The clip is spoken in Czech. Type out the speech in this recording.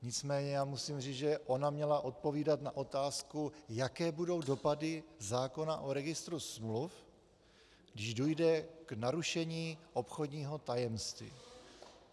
Nicméně já musím říct, že ona měla odpovídat na otázku, jaké budou dopady zákona o registru smluv, když dojde k narušení obchodního tajemství.